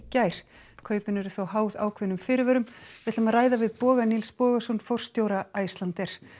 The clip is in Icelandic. gær kaupin eru þó háð ákveðnum fyrirvörum við ætlum að ræða við Boga Nils Bogason forstjóra Icelandair